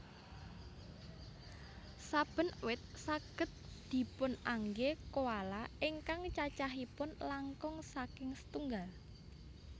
Saben wit saged dipunanggé koala ingkang cacahipun langkung saking setunggal